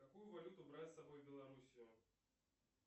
какую валюту брать с собой в белоруссию